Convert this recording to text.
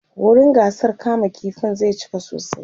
wurin gasar kama ƙifin zai cika sosai